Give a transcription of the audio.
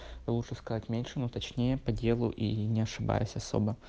лучше сказать меньше ну точнее по делу и не ошибаясь особо